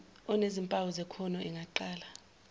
enezimpawu zekhono engaqala